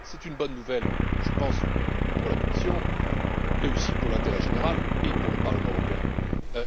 C'est une bonne nouvelle je pense pour la Commission, mais aussi pour l'intérêt général et pour le Parlement européen,